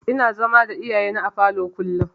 Ina zama da iyayena a falo kullum.